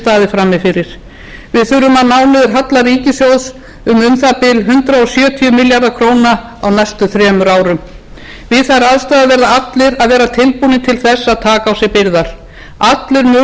frammi fyrir við þurfum að ná niður halla ríkissjóðs um um það bil hundrað sjötíu milljarða króna á næstu þremur árum við þær aðstæður verða allir að vera tilbúnir til þess að taka á sig byrðar allir munu því miður finna fyrir hinum